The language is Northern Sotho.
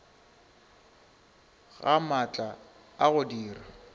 ga maatla a go dira